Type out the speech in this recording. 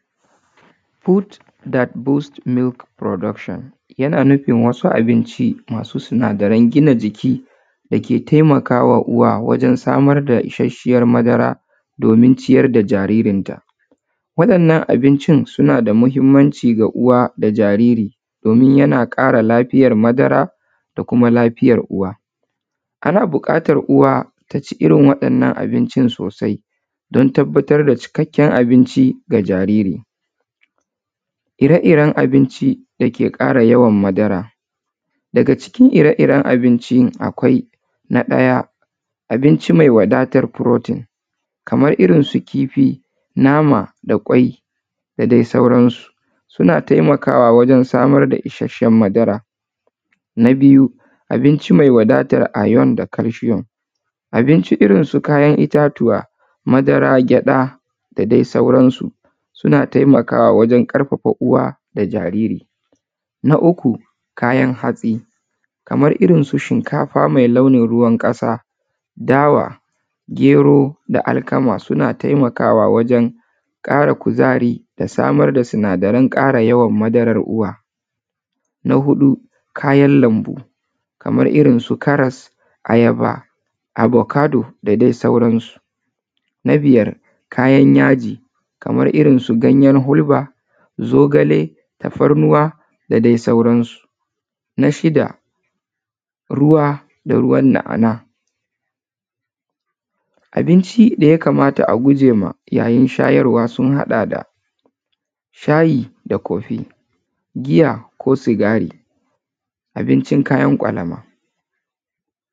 Foods that boost milk production yana nufin wasu abinci masu sinadaran gina jiki da ke taimaka wa uwa wajen samar da isasshiyar madara domin ciyar da jaririnta. Waɗannan abincin suna da muhimmanci ga uwa da jariri domin yana ƙara lafiyar madara da kuma lafiyar uwa. Kana buƙatar uwa ta ci irin waɗannan abincin sosai don tabbatar da cikakken abinci ga jariri. Ire-iren abinci da ke ƙara yawan madara, daga cikin ire-iren abincin akwai: na ɗaya, abinci mai wadatan protein kamar irin su kifi, nama da ƙwai da dai sauransu, suna taimakawa wajen samar da isasshen madara. Na biyu, abinci mai wadatar iron da calcium. Abinci irin su kayan itatuwa, madara, gyaɗa da dai sauransu suna taimakwa wajen ƙarfafa uwa da jariri. Na uku, kayan hatsi kamar irin su shinkafa mai launin ruwan ƙasa, dawa, gero da alkama suna taimakawa wajen ƙara kuzari da samar da sinadaran ƙara yawan madarar uwa. Na huɗu, kayan lambu kamar irin su karas, ayaba, abokado da dai sauransu. Na biyar, kayan yaji kamar irin su ganyen hulba, zogale, tafarnuwa da dai sauransu. Na shida, ruwa da ruwan na’ana’a, Abinci da ya kamata a guje ma yayin shayarwa sun haɗa da shayi da coffee, giya ko sigari, abincin kayan ƙwalama.